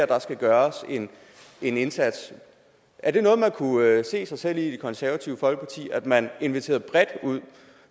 der skal gøres en indsats er det noget man kunne se sig selv i i det konservative folkeparti altså at man inviterede bredt